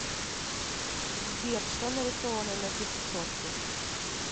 сбер что нарисовано на пятисотке